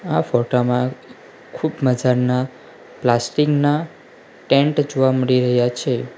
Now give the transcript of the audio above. આ ફોટા માં ખૂબ મજાના પ્લાસ્ટિક ના ટેન્ટ જોવા મળી રહ્યા છે.